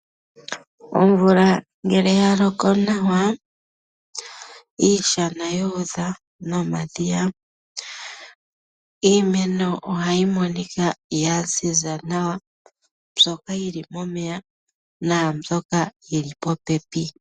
Omvula ngele yaloko nawa iishana yuudha nomadhiya, iimeno ohayi monika ya zi za nawa mbyoka yili momeya naambyoka yili popepi.